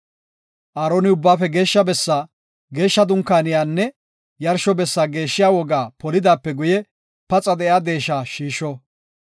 Aaroni Ubbaafe Geeshsha bessaa, geeshsha Dunkaaniyanne yarsho bessa geeshshiya wogaa polidaape guye, paxa de7iya deesha shiisho.